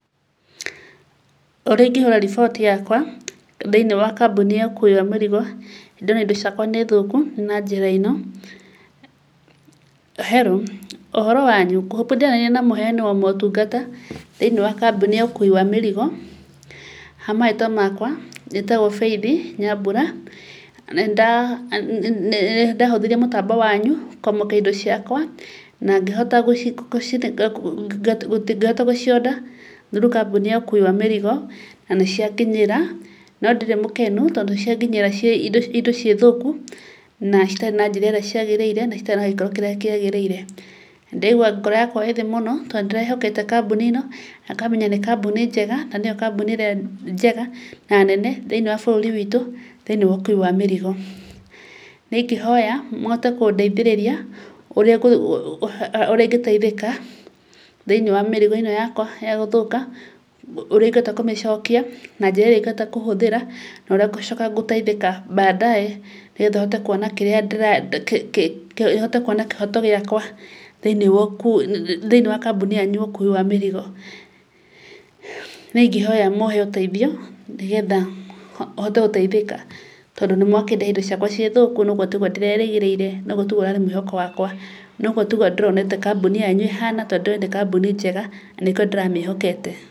Ũrĩa ingĩhũra riboti yakwa thĩinĩ wa kambuni ya mĩrigo, ndĩmere indo ciakwa nĩ thũku, nĩ na njĩra ĩno. Hello, ũhoro wanyu ? Ngũĩhoka ndĩraria na mũheani wa ũtungata thĩinĩ wa kambuni ya mĩrigo, hamarĩtwa makwa, njĩtagwo Faith Nyambura, na nĩndahũthĩrire mũtambo wanyu kũamũkĩra indo ciakwa, na ngĩhota gũci order through kambuni ya ũkuwi wa mĩrigo na nĩcianginyĩra, nondirĩ mũkenu, tondũ cianginyĩra indo ciĩthũku, na citarĩ na njĩra ĩrĩa ciagĩrĩire, na itarĩ na gĩkĩro kĩrĩa kĩagĩrĩire. Ndĩraigua ngoro yakwa ĩthĩ mũno, tondũ ndĩrehokete kambuni ĩno, na ngamenya nĩ kambuni njega, na nĩyo kambuni njega na nene, thĩinĩ wa bũrũri witũ, thĩinĩ wa ũkuwi wa mĩrigo. Nĩ ingĩhoya mũhote kũndeithĩrĩria ũrĩa ingĩteithĩka thĩinĩ wa mĩrigo ĩno yakwa gũthũka, ũrĩa ingĩhota kũmĩcokia, na njĩra ĩrĩa ingĩhota kũhũthĩra, na ũrĩa ngũcoka gũteithĩka baadaye, nĩgetha hote kwona kĩrĩa, hote kwona kĩhoto gĩakwa, thĩinĩ wa kambuni yanyu ya ũkũwi wa mĩrigo. Nĩ ingĩhoya mũhe ũteithio nĩgetha hote gũteithĩka, tondũ nĩ mwakĩndehera indo ciakwa ciĩthũku. Na ũguo tiguo ndĩrerĩgĩrĩire, natiguo ũrarĩ mwĩhoko wakwa, noguo tiguo ndĩronete kambuni yanyu ĩhana, tondũ ndĩroĩ nĩ kambuni njega, na nĩkĩo ndĩramĩhokete."